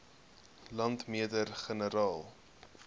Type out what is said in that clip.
landmeter generaal